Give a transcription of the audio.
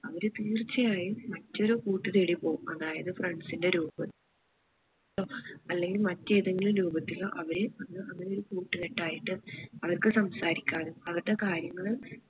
അവര് തീർച്ചയായും മറ്റൊരു കൂട്ട് തേടി പോവും അതായത് friends ന്റെ രൂപ ത്തിലോ അല്ലെങ്കിൽ മറ്റേതെങ്കിലും രൂപത്തിലോ അവര് അവര് ഒരു കൂട്ടുകെട്ടായിട്ട് അവർക്ക് സംസാരിക്കാനോ അവർടേ കാര്യങ്ങള്